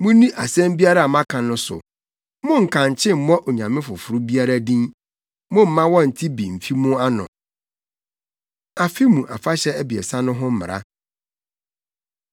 “Munni asɛm biara a maka no so. Monnkankye mmɔ onyame foforo biara din; momma wɔnnte bi mmfi mo ano.” Afe Mu Afahyɛ Abiɛsa No Ho Mmara